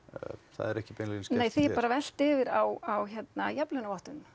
það er ekki beinlínis nei því er bara velt yfir á jafnlaunavottun